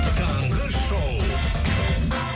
таңғы шоу